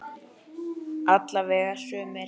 Alla vega sumir.